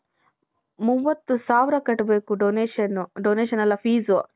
ಮೂವತ್ ಸಾವಿರ ಕಟ್ಬೇಕು ಡೊನೇಶನ್ ಡೊನೇಶನ್ ಅಲ್ಲ fees .